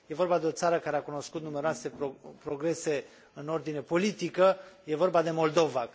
E vorba de o țară care a cunoscut numeroase progrese în ordinea politică, e vorba de Moldova.